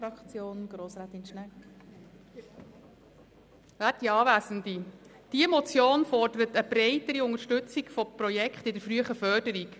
Diese Motion fordert eine breitere Unterstützung von Projekten im Bereich der frühen Förderung.